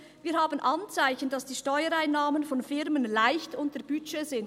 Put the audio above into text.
«Wir haben Anzeichen, dass die Steuereinnahmen von Firmen leicht unter Budget sind.»